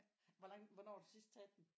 Hvor langt hvornår har du sidst taget den